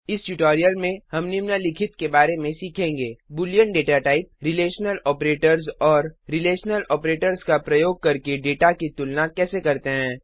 इस ट्यूटोरियल में हम निम्नलिखित के बारे में सीखेंगे बूलियन दाता typeबूलियन डेटा टाइप रिलेशनल आपरेटर्स और रिलेशनल आपरेटर्स का प्रयोग करके दाता की तुलना कैसे करते हैं